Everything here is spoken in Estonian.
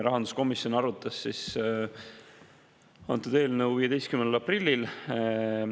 Rahanduskomisjon arutas antud eelnõu 15. aprillil.